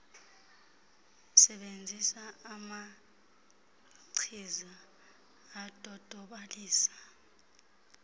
sebenzisa amachiza adodobalisa